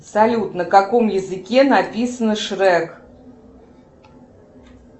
салют на каком языке написано шрек